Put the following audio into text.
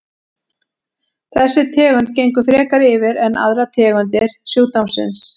Þessi tegund gengur frekar yfir en aðrar tegundir sjúkdómsins.